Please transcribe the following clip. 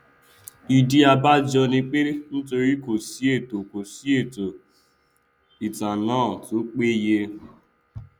ìdí abájọ ni pé nítorí kòsí ètò kòsí ètò ìtanná tó péye